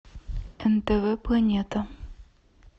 нтв планета